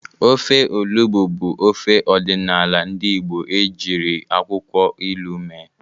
Ofe Olugbu bụ ofe ọdịnala ndị Igbo ejiri akwụkwọ ilu mee.